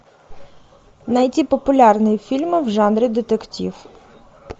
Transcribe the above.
найти популярные фильмы в жанре детектив